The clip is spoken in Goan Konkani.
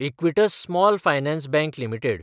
Equitas small finance bank limited